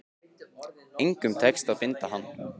Og engum tekist að binda hann.